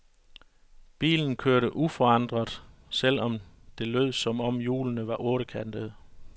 Bilen kørte uforandret, selv om det lød som om hjulene var ottekantede.